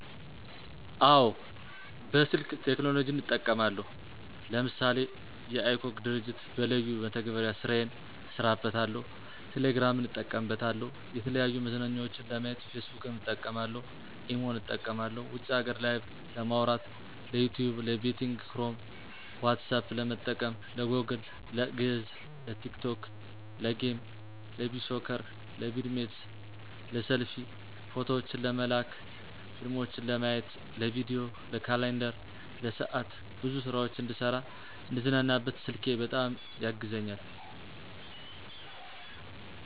አወ በስልክ ቴክኖሎጅን እጠቀማለሁ ለምሳሌ:- የiCog ድርጅት በለዩን መተግበሪያ ስራየን እሰራበታለሁ፣ ቴሌግራምን እጠቀምበታለሁ፣ የተለያዩ መዝናኛዎችን ለማየት ፌስቡክን እጠቀምበታለሁ፣ ኢሞን እጠቀማለሁ ውጭ ሀገር ላይቨ ለማዉራት፣ ለዩቱብ፣ ለቤቲንግ ክሮም፣ ኋትሳፐ ለመጠቀም፣ ለጎግል፣ ለግዕዝ፣ ለቲክቶክ፣ ለጌም፣ ለቢሶከር፣ ለቪድሜት፣ ለሰልፊ፣ ፎቶዎችን ለመላላክ፣ ፊልሞችን ለማየት፣ ለቪዲዬ፣ ለካላንደር፣ ለሰዓት፣ ብዙ ስራዎች እንድሰራ፣ እንድዝናናበት ስልኬ በጣም ያግዘኛል።